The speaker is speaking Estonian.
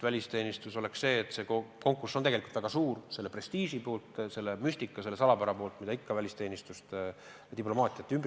Välisteenistusse on konkurss tegelikult väga suur – selle prestiiži, selle müstika, selle salapära tõttu, mis ikka välisteenistust ja diplomaatiat ümbritseb.